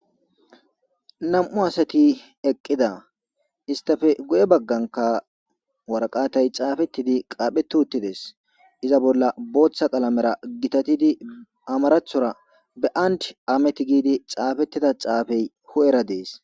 nam''u asati eqqida. istafe goye bagganka waraqatay caafettidi qaapheti uttides. iza bolla booththa qalamera gitatidi amarathora be and amet giidi caafettida caafey hu'era dees.